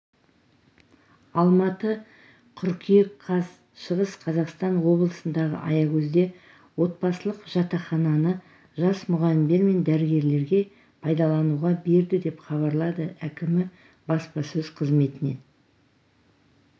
алматы қыркүйек қаз шығыс қазақстан облысындағы аягөзде отбасылық жатақхананы жас мұғалімдер мен дәрігерлерге пайдалануға берді деп хабарлады әкімі баспасөз қызметінен